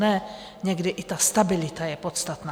Ne, někdy i ta stabilita je podstatná.